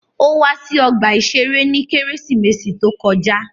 Ó wá sí ọgbà-ìṣeré ní Kérésìmesì to kọjá